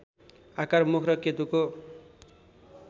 आकार मुख र केतुको